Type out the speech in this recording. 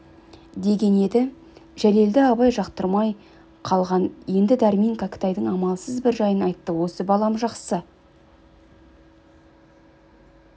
деген еді жәлелді абай жақтырмай қалған енді дәрмен кәкітайдың амалсыз бір жайын айтты осы балам жақсы